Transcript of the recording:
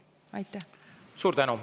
Suur tänu!